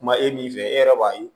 Kuma e min fɛ e yɛrɛ b'a ye